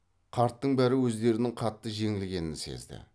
қарттың бәрі өздерінің қатты жеңілгенін сезді